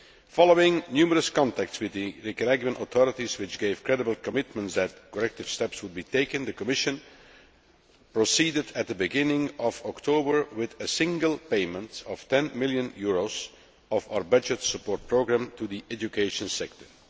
Following numerous contacts with the Nicaraguan authorities which gave credible commitments that corrective steps would be taken, the Commission proceeded at the beginning of October with a single payment of EUR 10 million of our budget support programme to the education sector.